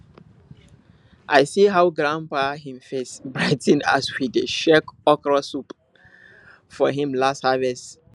i see how grandpa him face brigh ten as we dey share okra soup from him last harvest